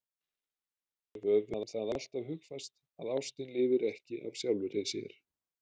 Höfum það alltaf hugfast að ástin lifir ekki af sjálfri sér.